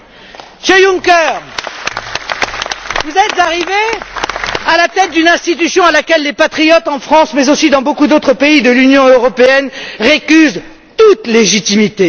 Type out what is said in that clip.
Monsieur Juncker, vous êtes arrivé à la tête d'une institution à laquelle les patriotes en France, mais aussi dans beaucoup d'autres pays de l'Union européenne, récusent toute légitimité.